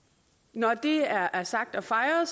når det er er sagt og fejret